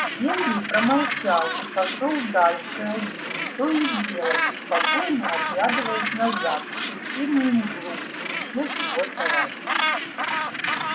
генри промолчал и пошёл дальше один то и дело беспокойно оглядываясь назад в пустынную мглу где исчез его товарищ